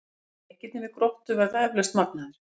En leikirnir við Gróttu verða eflaust magnaðir.